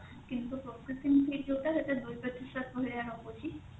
କିନ୍ତୁ processing fee ଯୋଉଟା ସେଟା ଦୁଇ ପ୍ରତିଶତ ଭଳିଆ ରହୁଛି